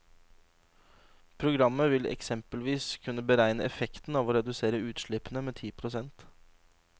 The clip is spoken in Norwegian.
Programmet vil eksempelvis kunne beregne effekten av å redusere utslippene med ti prosent.